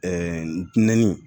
Ɛɛ ndinɛ